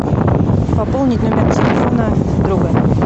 пополнить номер телефона друга